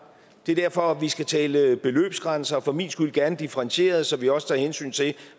det er derfor vi skal tale beløbsgrænser for min skyld gerne differentierede så vi også tager hensyn til